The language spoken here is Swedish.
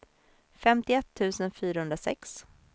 femtioett tusen fyrahundrasex